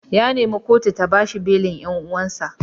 Ya nemi kotu ta ba shi belin dan uwansa.